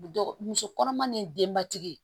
muso kɔnɔma ni denbatigi